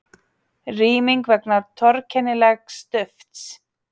Rýming vegna torkennilegs dufts